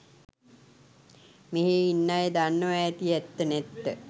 මෙහේ ඉන්න අය දන්නවා ඇති ඇත්ත නැත්ත